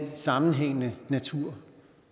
sammenhængende natur